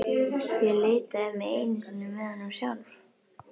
Ég litaði mig einu sinni með honum sjálf.